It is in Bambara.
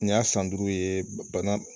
Nin y'a san duuru ye bana